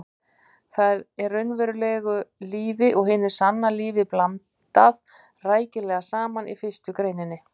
Þar er raunverulegu lífi og hinu sanna lífi blandað rækilega saman í fyrstu greininni.